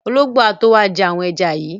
Ológbò á tó wá jẹ́ àwọn ẹja yìí.